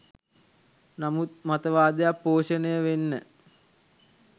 නමුත් මතවාදයක් පෝෂණය වෙන්න